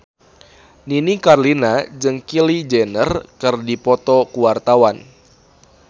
Nini Carlina jeung Kylie Jenner keur dipoto ku wartawan